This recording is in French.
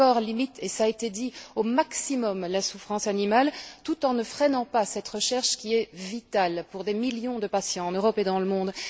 L'accord limite et cela a été dit au maximum la souffrance animale, tout en ne freinant pas cette recherche, qui est vitale pour des millions de patients en Europe et dans le monde.